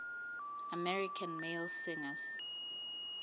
american male singers